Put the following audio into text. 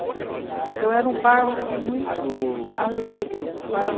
Então, era um bairro muito alegre, era um bairro